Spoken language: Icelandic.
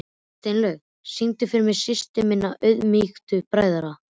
Steinlaug, syngdu fyrir mig „Systir minna auðmýktu bræðra“.